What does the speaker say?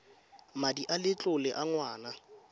madi a letlole a ngwana